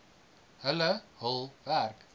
hulle hul werk